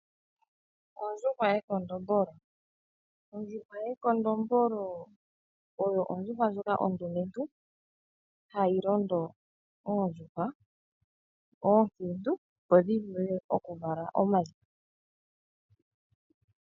Ekondombolo ondjuhwa ndjoka ondumentu hayi londo oondjuhwa ndhoka oonkiintu opo dhi vule okuvala omayi.